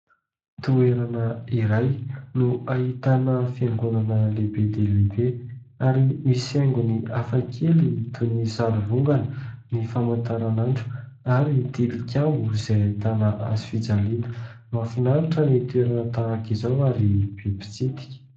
Toerana iray no ahitana fiangonana lehibe dia lehibe ary misy haingony hafa kely toy ny sary vongana, ny famantaranandro ary tilikambo izay ahitana hazofijaliana. Mahafinaritra ny toerana tahaka izao ary be mpitsidika.